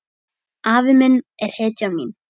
Afi minn er hetjan mín.